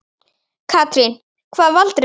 Katrín: Hvað valdirðu þér?